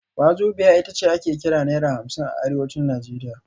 Wazobia ita ce ake kira Naira hamsin a Arewacin Najeriya